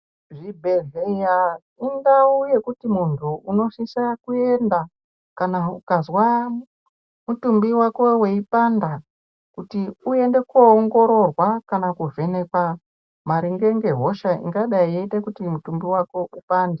Zvi bhedhleya indau yekuti muntu unosisa kuenda kana ukazwa mutumbi wako weipanda kuti uyende ko ongororwa kana ku vhenekwa maringe nge hosha ingadai yeite kuti mutumbi wako upande.